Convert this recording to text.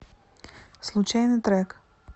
случайный трек